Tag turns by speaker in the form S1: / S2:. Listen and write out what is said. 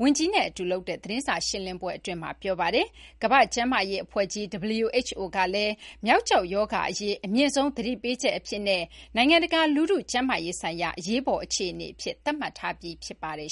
S1: ဝန်ကြီး Bacerra နဲ့ အတူ လုပ်တဲ့သတင်းစာ ရှင်းလင်းပွဲအတွင်းမှာ ပြောပါတယ်။ ကမ ္ဘာ့ကျန်းမာရေး အဖွဲ့ကြီး WHO ကလည်း မျောက်ကျောက် ရောဂါ အရေး အမြင့်ဆုံး သတိပေးချက် အဖြစ်နဲ့ နိုင်ငံတကာ လူထု ကျန်းမာရေးဆိုင်ရာ အရေးပေါ် အခြေအနေ အဖြစ် သတ်မှတ်ထားပြီး ဖြစ်ပါတယ်